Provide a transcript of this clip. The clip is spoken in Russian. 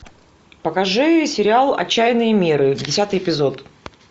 покажи сериал отчаянные меры десятый эпизод